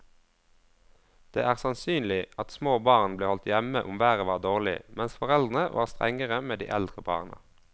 Det er sannsynlig at små barn ble holdt hjemme om været var dårlig, mens foreldrene var strengere med de eldre barna.